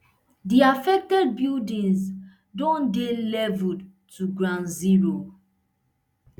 di affected buildings don dey leveled to ground zero